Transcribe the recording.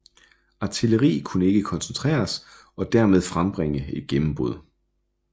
Artilleri kunne ikke koncentreres og hermed frembringe et gennembrud